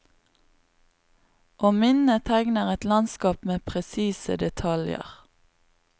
Og minnet tegner et landskap med presise detaljer.